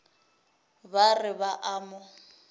ba re ba a mo